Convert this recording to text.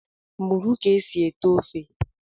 Mụrụ ka e si ete ofe!